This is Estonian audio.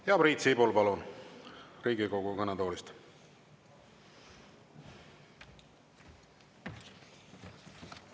Ja Priit Sibul, palun, Riigikogu kõnetoolist!